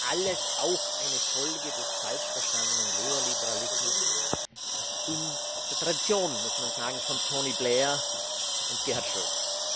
Das war alles auch eine Folge des falsch verstandenen Neo Liberalismus in der Tradition, muss man sagen, von Tony Blair und Gerhard Schröder.